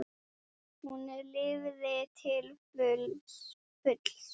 Hún lifði til fulls.